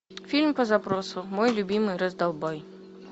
фильм по запросу мой любимый раздолбай